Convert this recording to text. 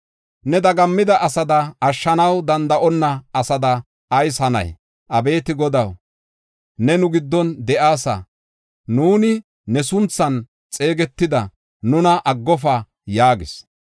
Ne dagammida asada, ashshanaw danda7onna asada ayis hanay? Abeeti Godaw, ne nu giddon de7aasa! Nuuni ne sunthan xeegetida; nuna aggofa!” yaagis.